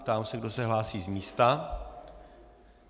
Ptám se, kdo se hlásí z místa.